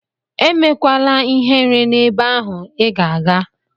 Emekwala ihere n'ebe ahụ Ị ga-aga!